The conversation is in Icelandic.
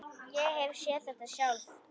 Ég hef séð þetta sjálf.